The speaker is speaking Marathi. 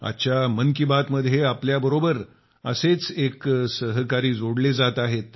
आजच्या मन की बात मध्ये आपल्याबरोबर असेच एक सहकारी जोडले जात आहेत